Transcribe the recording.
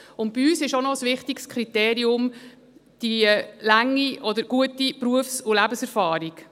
Bei uns ist ein wichtiges Kriterium auch die lange oder gute Berufs- und Lebenserfahrung.